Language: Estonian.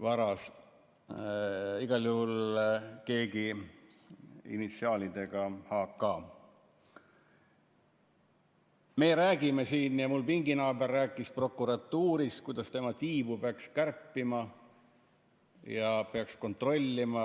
varas, igal juhul keegi initsiaalidega H. K. Meie räägime siin, ja mu pinginaaber rääkis, prokuratuurist, kuidas tema tiibu peaks kärpima ja teda peaks kontrollima.